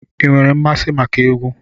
Ị nwere mmasị maka egwu?